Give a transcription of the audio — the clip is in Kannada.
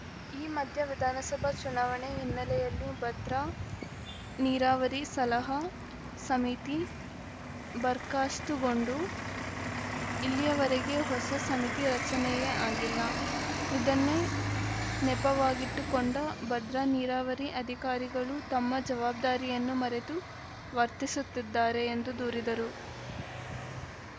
ಈ ಮಧ್ಯೆ ವಿಧಾನಸಭಾ ಚುನಾವಣೆ ಹಿನ್ನೆಲೆಯಲ್ಲಿ ಭದ್ರಾ ನೀರಾವರಿ ಸಲಹಾ ಸಮಿತಿ ಬರ್ಕಾಸ್ತುಗೊಂಡು ಇಲ್ಲಿಯವರೆಗೆ ಹೊಸ ಸಮಿತಿ ರಚನೆಯೇ ಆಗಿಲ್ಲ ಇದನ್ನೇ ನೆಪವಾಗಿಟ್ಟುಕೊಂಡ ಭದ್ರಾ ನೀರಾವರಿ ಅಧಿಕಾರಿಗಳು ತಮ್ಮ ಜವಾಬ್ದಾರಿಯನ್ನು ಮರೆತು ವರ್ತಿಸುತ್ತಿದ್ದಾರೆ ಎಂದು ದೂರಿದರು